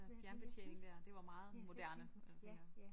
Øh fjernbetjening dér det var meget moderne øh ja